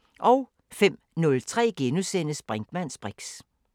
05:03: Brinkmanns briks *